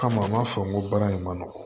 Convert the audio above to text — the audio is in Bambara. Kama m'a fɔ ko baara in ma nɔgɔ